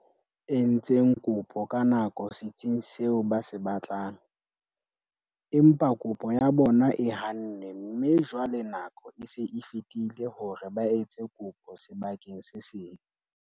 Entseng kopo ka nako setsing seo ba se batlang, empa kopo ya bona e hannwe mme jwale nako e se e fetile hore ba etse kopo sebakeng se seng.